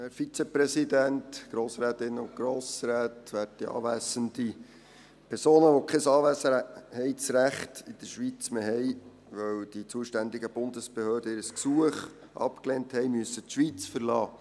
Personen, die kein Anwesenheitsrecht in der Schweiz mehr haben, weil die zuständigen Bundesbehörden ihr Gesuch abgelehnt haben, müssen die Schweiz verlassen.